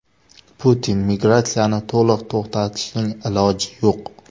Putin: Migratsiyani to‘liq to‘xtatishning iloji yo‘q.